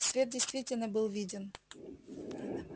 свет действительно был виден